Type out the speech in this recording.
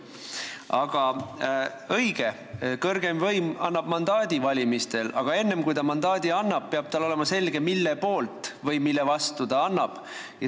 Aga õige, kõrgeim võim annab mandaadi valimistel, aga enne kui ta mandaadi annab, peab tal olema selge, mille poolt või mille vastu ta selle annab.